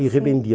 E revendia. Sim